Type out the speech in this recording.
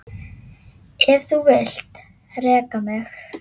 Ef þú vilt reka mig?